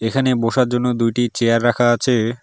এখানে বসার জন্য দুইটি চেয়ার রাখা আছে।